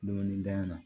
Donin da in na